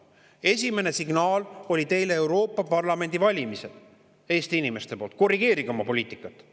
Esimene signaal teile Eesti inimestelt oli Euroopa Parlamendi valimistel: korrigeerige oma poliitikat.